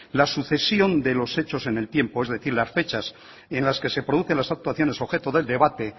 la sucesión de los hechos en el tiempo es decir las fechas en las que se producen las actuaciones objeto del debate